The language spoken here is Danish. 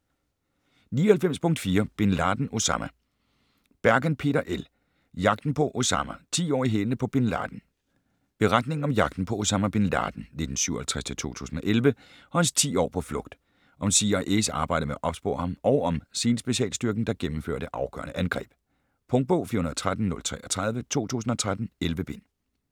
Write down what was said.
99.4 Bin Laden, Osama Bergen, Peter L.: Jagten på Osama: ti år i hælene på Bin Laden Beretning om jagten på Osama Bin Laden (1957-2011) og hans 10 år på flugt. Om CIA's arbejde med at opspore ham og om SEAL-specialstyrken, der gennemfører det afgørende angreb. Punktbog 413033 2013. 11 bind.